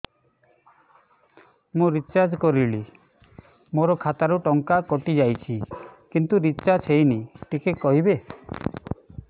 ମୁ ରିଚାର୍ଜ କରିଲି ମୋର ଖାତା ରୁ ଟଙ୍କା କଟି ଯାଇଛି କିନ୍ତୁ ରିଚାର୍ଜ ହେଇନି ଟିକେ କହିବେ